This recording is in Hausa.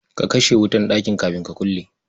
Ka kashe wutar ɗakin kafin ka kulle?